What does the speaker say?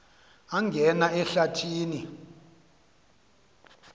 angena ehlathi ni